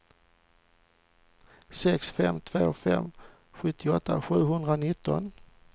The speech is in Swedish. sex fem två fem sjuttioåtta sjuhundranitton